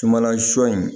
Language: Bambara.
Sumanla sɔ in